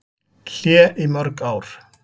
Hlé í mörg ár